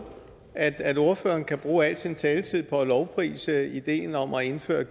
at ordføreren kan bruge al sin taletid på at lovprise ideen om at indføre